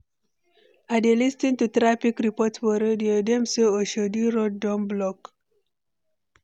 I dey lis ten to traffic report for radio, dem say Oshodi road don block.